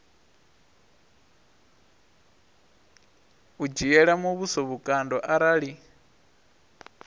u dzhiela muvhuso vhukando arali